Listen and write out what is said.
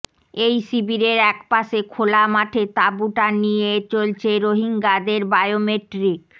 এই শিবিরের একপাশে খোলা মাঠে তাঁবু টানিয়ে চলছে রোহিঙ্গাদের বায়োমেট্রিক